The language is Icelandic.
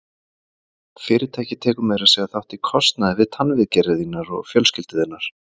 Fyrirtækið tekur meira að segja þátt í kostnaði við tannviðgerðir þínar og fjölskyldu þinnar.